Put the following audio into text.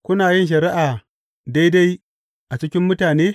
Kuna yin shari’a daidai a cikin mutane?